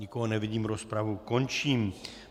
Nikoho nevidím, rozpravu končím.